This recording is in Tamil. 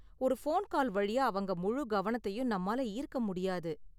ஒரு போன் கால் வழியா அவங்க முழு கவனத்தையும் நம்மால ஈர்க்க முடியாது.